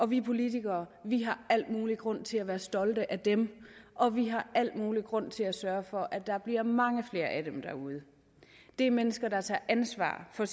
vi politikere har al mulig grund til at være stolte af dem og vi har al mulig grund til at sørge for at der bliver mange flere af dem derude det er mennesker der tager ansvar for